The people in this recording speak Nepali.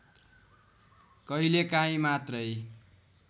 कहिलेकाही मात्रै